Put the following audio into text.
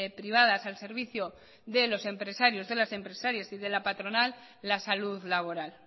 privadas al servicio de los empresarios de las empresarias y de la patronal la salud laboral